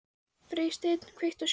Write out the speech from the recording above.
Freysteinn, kveiktu á sjónvarpinu.